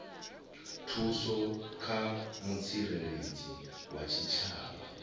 thuso kha mutsireledzi wa tshitshavha